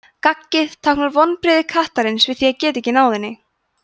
gaggið táknar vonbrigði kattarins við því að geta ekki náð henni